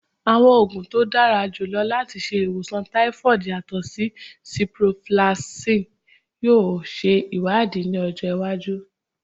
Awọn oogun to dara julọ lati ṣe iwosan typhoid yatọ si ciprofloxacin yoo ṣe iwadii ni ọjọ iwaju